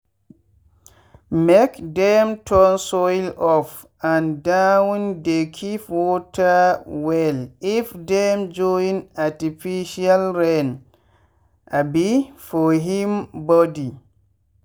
make dem turn soil up and downdey keep water wellif dem join artificial rain um for him body.